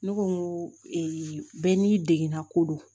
Ne ko n ko bɛɛ n'i degana ko do